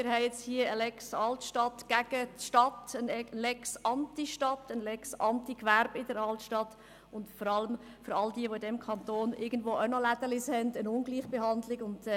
Wir haben aber auch eine «Lex Altstadt» gegen die Stadt und eine «Lex Antistadt», dann eine «Lex Antigewerbe» für die Altstadt und vor allem im Kanton eine Ungleichbehandlung von all denen, die irgendwo im Kanton einen kleinen Laden haben.